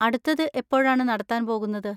അടുത്തത് എപ്പോഴാണ് നടത്താൻ പോകുന്നത്?